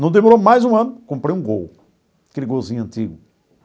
Não demorou mais um ano, comprei um gol, aquele golzinho antigo.